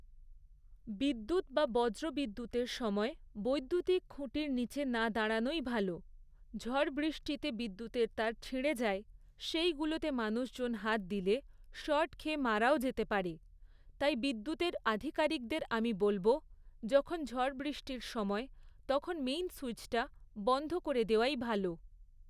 বিদ্যুৎ বা বজ্র বিদ্যুৎতের সময় বৈদ্যুতিক খুঁটির নিচে না দাঁড়ানোই ভালো, ঝড় বৃষ্টিতে বিদ্যুতের তার ছিঁড়ে যায়, সেইগুলোতে মানুষজন হাত দিলে শর্ট খেয়ে মারাও যেতে পারে। তাই বিদ্যুতের আধিকারিকদের আমি বলবো, যখন ঝড় বৃষ্টির সময়, তখন মেইন সুইচটা বন্ধ করে দেওয়াই ভালো।